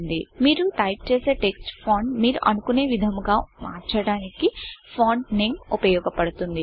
కి మీరు టైపు చేసే టెక్స్ట్ ఫాంట్ మీరు అనుకునే విధముగా మార్చడానికి ఫాంట్ Nameఫాంట్ నేమ్ ఉపయోగపడుతుంది